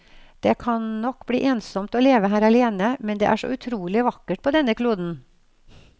Det kan nok bli ensomt å leve her alene, men det er så utrolig vakkert på denne kloden.